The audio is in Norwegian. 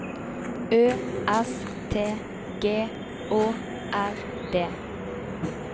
Ø S T G Å R D